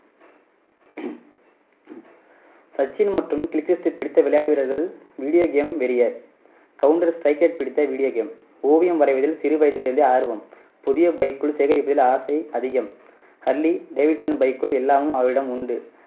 சச்சின் மற்றும் கில்க்ரிஸ்ட் பிடித்த விளையாட்டு வீரர்கள் video game counter strike பிடித்த video game ஓவியம் வரைவதில் சிறு வயதிலிருந்தே ஆர்வம் புதிய bike கள் சேகரிப்பதில் ஆசை அதிகம். ஹர்லி டேவிட்சன் பைக்குகள் எல்லாமும் அவரிடம் உண்டு.